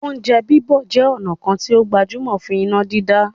"Oúnjẹ bíbọ̀" jẹ ọ̀nà kan tí ó gbajúmọ̀ fún iná dídá